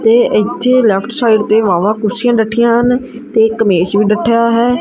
ਤੇ ਇੱਥੇ left side ਤੇ ਵਾਵਾ ਕੁਰਸੀਆਂ ਡੱਠੀਆਂ ਹਨ ਤੇ ਇੱਕ ਮੇਜ ਵੀ ਡੱਠਾ ਹੈ।